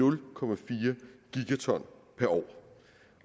årlige co år